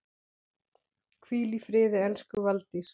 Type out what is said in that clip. Hvíl í friði elsku Valdís.